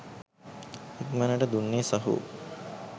ඉක්මනට දුන්නේ සහෝ.